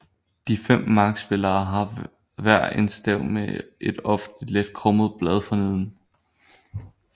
De 5 markspillere har hver en stav med et ofte let krummet blad forneden